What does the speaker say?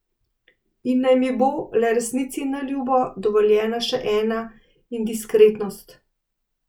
In naj mi bo, le resnici na ljubo, dovoljena še ena indiskretnost.